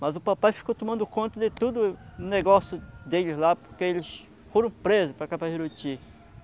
Mas o papai ficou tomando conta de tudo o negócio deles lá, porque eles foram presos para.